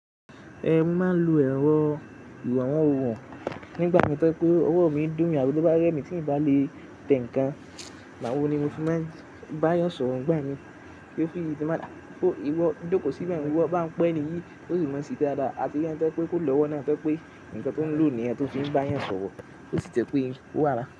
Ẹn moo n má lo ẹ̀rọ ìwawon nígbà tó jẹ́ pé ọwọ́ mi ń dùn mi, àbí tó bá rẹ́ mi tí n bá lè tẹ̀ ǹkan, igbàwọ̀ ni mo fi máa ń bá yàn sọ̀rọ̀ ń gbà mí. Tí n baa ni ah, ìwọ jóko síbẹ̀ yẹn, i wo bá n pẹ́ enìyí, óri mi máa ń sese dáadáa. Àti rí ẹni tí tó jẹ́ pé kó lọ́wọ́ náà pé ǹkan tó ń lò nìyẹn tó fi ń bá yàn sọ̀rọ̀ tó sì jẹ́ pé ń wà náà.